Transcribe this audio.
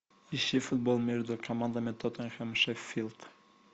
ищи футбол между командами тоттенхэм шеффилд